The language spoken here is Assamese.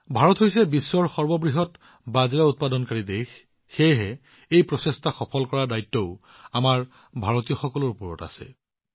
ভাৰত হৈছে বিশ্বৰ সৰ্ববৃহৎ বাজৰা উৎপাদক সেয়েহে এই প্ৰচেষ্টা সফল কৰাৰ বৃহৎ দায়িত্ব আমাৰ ভাৰতীয়সকলৰ কান্ধত আছে